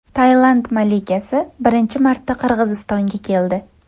Tailand malikasi birinchi marta Qirg‘izistonga keldi.